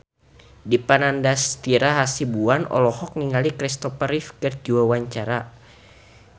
Dipa Nandastyra Hasibuan olohok ningali Kristopher Reeve keur diwawancara